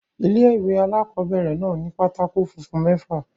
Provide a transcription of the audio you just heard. Ilé-ìwé alákobẹ̀rẹ̀ náà ni pátákó funfun mẹ́fà